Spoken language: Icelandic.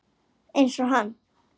Einsog hann.